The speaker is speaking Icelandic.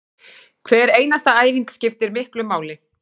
Hver einasta æfing skiptir miklu máli